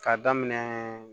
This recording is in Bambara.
K'a daminɛ